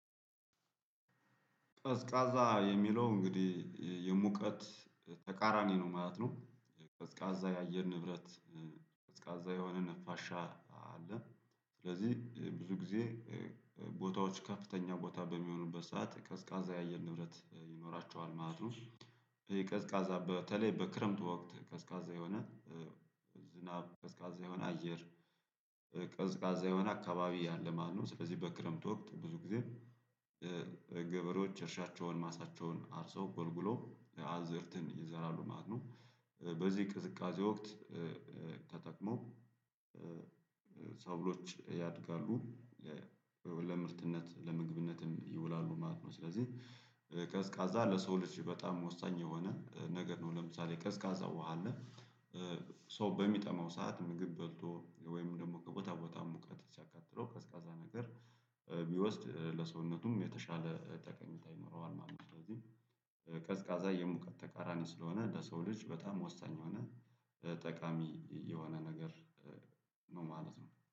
ቀዝቃዛ የሚለው እንግዲህ የሙቀት ተቃራኒ ነው ማለት ነው። ቀዝቃዛ የአየር ንብረት ቀዝቃዛ የሆነ ንፋሻ አለ። ስለዚህ ብዙ ጊዜ ቦታዎች ከፍተኛ ቦታ በሚሆኑበት ሰዓት ቀዝቃዛ የአየር ንብረት ይኖራቸዋል ማለት ነው። ቀዝቃዛ በተለይ በክረምት ወቅት ቀዝቃዛ የሆነ ዝናብ፣ ቀዝቃዛ የሆነ አየር፣ ቀዝቃዛ የሆነ አካባቢ ያለ ማለነው ስለዚህ በክረምት ወቅት ብዙ ጊዜ ገበሬዎች እርሻቸውን ማሳቸውን አርሰው ጎልጉለው አዕዝርትን ይዘራሉ ማለት ነው። በዚህ ቅዝቃዜ ወቅት ተጠቅመው ሰብሎች ያድጋሉ። ለምርትነት ለምግብነትም ይውላሉ ማለት ነው። ስለዚህ ቀዝቃዛ ለሰው ልጅ በጣም ወሳኝ የሆነ ነገር ነው። ለምሳሌ ቀዝቃዛ ውሃ አለ ሰው በሚጠማው ሰዓት ምግብ በልቶ ወይም ደግሞ ከቦታ ቦታ ሙቀት ሲያቃጥለው ቀዝቃዛ ነገር ቢወስድ ለሰውነቱም የተሻለ ጠቀሜታ ይኖረዋል ማለት ነው። ስለዚህ ቀዝቃዛ የሙቀት ተቃራኒ ስለሆነ ለሰው ልጅ በጣም ወሳኝ የሆነ ጠቃሚ የሆነ ነገር ነው ማለት ነው።